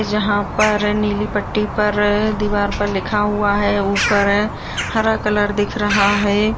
जहाँ पर नीली पट्टी पर दीवार पर लिखा हुआ है ऊपर हरा कलर दिख रहा है।